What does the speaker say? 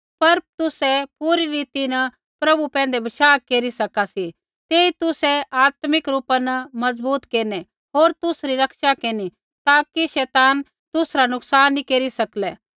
पर तुसै पूरी रीति न प्रभु पैंधै बशाह केरी सका सी तेई तुसै आत्मिक रूपा न मजबूत केरनै होर तुसरी रक्षा केरनी ताकि शैतान तुसरा नुकसान नैंई केरी सकलै